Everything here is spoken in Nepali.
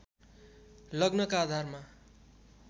लग्नका आधारमा